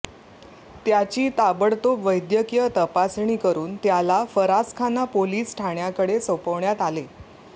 त्याची ताबडतोब वैद्यकीय तपासणी करुन त्याला फरासखाना पोलिस ठाण्याकडे सोपवण्यात आले